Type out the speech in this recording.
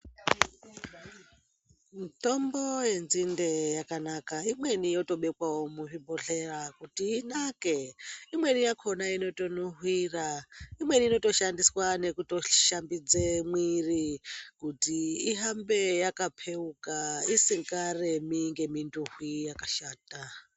Mitombo yenzinde yakanaka. Imweni yotobekwawo muzvibhodhlera kuti inake. Imweni yakhona inotonuhwira, imweni inotoshandiswa nekutoshambidze mwiri kuti ihambe yakapheuka isingaremi ngeminuhwi yakashata.